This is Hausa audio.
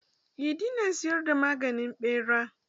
Idi na siyar da maganin ɓera.